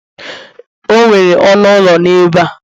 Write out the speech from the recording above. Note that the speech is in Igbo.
o nwere ọnụ ụlọ n'ebe a